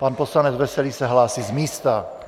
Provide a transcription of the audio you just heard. Pan poslanec Veselý se hlásí z místa.